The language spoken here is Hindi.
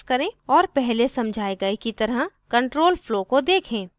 और पहले समझाए गए की तरह control flow को देखें